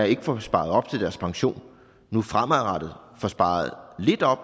ikke får sparet op til deres pension nu fremadrettet får sparet lidt op